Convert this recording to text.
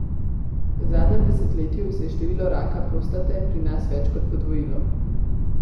V zadnjem desetletju se je število raka prostate pri nas več kot podvojilo.